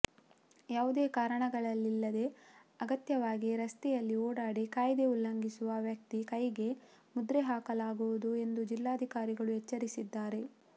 ಯಾವುದೇ ಕಾರಣಗಳಿಲ್ಲದೇ ಅನಗತ್ಯವಾಗಿ ರಸ್ತೆಯಲ್ಲಿ ಓಡಾಡಿ ಕಾಯ್ದೆ ಉಲ್ಲಂಘಿಸುವ ವ್ಯಕ್ತಿ ಕೈಗೆ ಮುದ್ರೆ ಹಾಕಲಾಗುವುದು ಎಂದು ಜಿಲ್ಲಾಧಿಕಾರಿಗಳು ಎಚ್ಚರಿಸಿದ್ದಾರೆ